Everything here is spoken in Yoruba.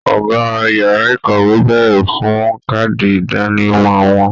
Ọgá yàrá ìkàwé béèrè fún kaadi idanimọ wọn.